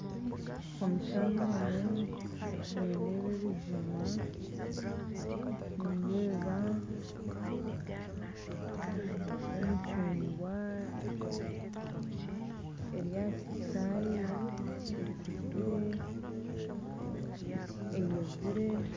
Omu kishuushani omu nindeeba ebijuma nindeeba emicugwa eri aha kiti kyaayo ekuzire eyeziire